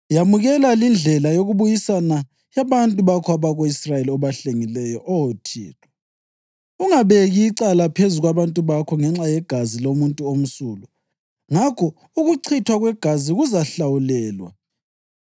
Yamukela lindlela yokubuyisana yabantu bakho abako-Israyeli, obahlengileyo, Oh Thixo, ungabeki icala phezu kwabantu bakho ngenxa yegazi lomuntu omsulwa.’ Ngakho ukuchithwa kwegazi kuzahlawulelwa.